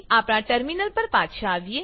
આપણા ટર્મીનલ પર પાછા આવીએ